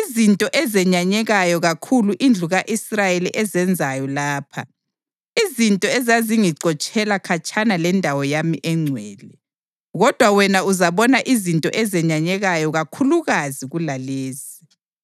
izinto ezenyanyekayo kakhulu indlu ka-Israyeli ezenzayo lapha, izinto ezizangixotshela khatshana lendawo yami engcwele? Kodwa wena uzabona izinto ezenyanyekayo kakhulukazi kulalezi.”